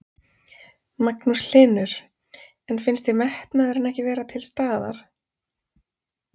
Magnús Hlynur: En þér finnst metnaðurinn ekki vera til staðar?